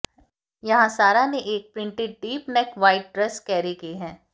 यहां सारा ने एक printed deep neck white dress carry की है